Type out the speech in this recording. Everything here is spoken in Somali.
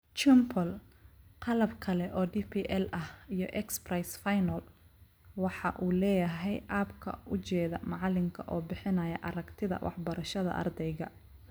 Chimple (qalab kale oo DPL ah iyo X-Prize final), waxa uu leeyahay abka u jeeda macalinka oo bixinaya aragtida waxbarashada ardayga.